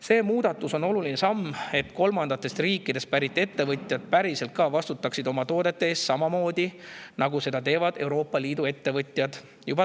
See muudatus on oluline samm, et kolmandatest riikidest pärit ettevõtjad päriselt ka vastutaksid oma toodete eest samamoodi, nagu seda teevad juba Euroopa Liidu ettevõtjad.